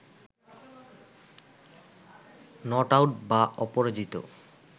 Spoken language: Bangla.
নট আউট বা অপরাজিত